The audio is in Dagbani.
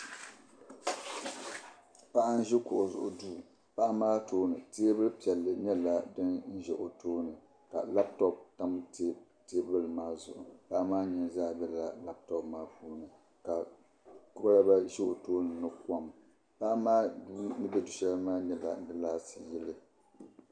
Paɣa n ʒi kuɣu zuɣu duu paɣa maa tooni teebuli piɛlli nyɛla din ʒɛ o tooni ka labtop tam teebuli maa zuɣu paɣa maa nini zaa bɛla labtop ŋo puuni ka kolba ʒɛ o tooni ni kom paɣa maa ni bɛ du shɛli ni maa nyɛla laati ni yiliya